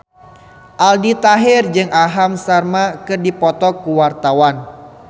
Aldi Taher jeung Aham Sharma keur dipoto ku wartawan